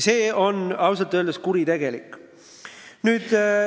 See on ausalt öeldes kuritegelik.